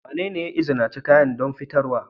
Wanene ya izinice kayan don fitarwa?